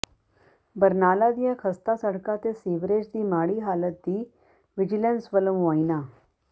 ਬਰਨਾਲਾ ਦੀਆਂ ਖਸਤਾ ਸੜਕਾਂ ਤੇ ਸੀਵਰੇਜ ਦੀ ਮਾੜੀ ਹਾਲਤ ਦਾ ਵਿਜੀਲੈਂਸ ਵੱਲੋਂ ਮੁਆਇਨਾ